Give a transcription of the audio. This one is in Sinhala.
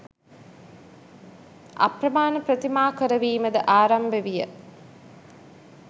අප්‍රමාණ ප්‍රතිමා කරවීමද ආරම්භ විය.